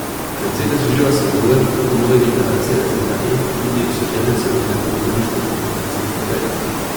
Mercedes uživa sadove tako nove generacije razreda E kot tudi osvežene celotne ponudbe športnih terencev in kupejev.